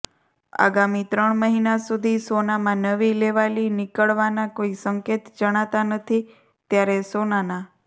આગામી ત્રણ મહિના સુધી સોનામાં નવી લેવાલી નીકળવાના કોઈ સંકેત જણાતા નથી ત્યારે સોનાના